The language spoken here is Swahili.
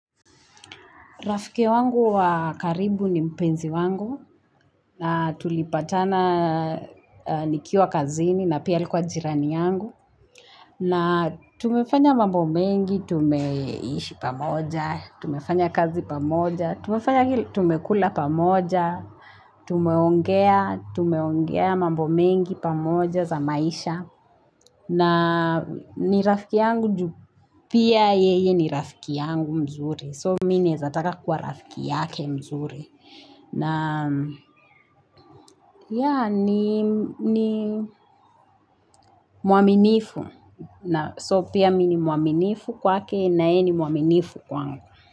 Rafiki wangu wa karibu ni mpenzi wangu na tulipatana nikiwa kazini na pia alikuwa jirani yangu. Na tumefanya mambo mengi, tumeishi pamoja, tumefanya kazi pamoja, tumefanya tumekula pamoja, tumeongea, tumeongea mambo mengi pamoja za maisha. Na ni rafiki yangu ju pia yeye ni rafiki yangu mzuri. So mimi naeza taka kuwa rafiki yake mzuri. Na yeah ni ni muaminifu na So pia mi ni muaminifu kwake na ye ni muaminifu kwangu.